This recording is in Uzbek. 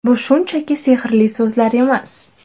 Bu shunchaki sehrli so‘zlar emas.